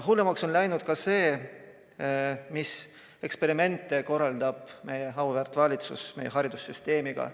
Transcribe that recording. Hullemaks on läinud ka see, mis eksperimente korraldab meie auväärt valitsus meie haridussüsteemiga.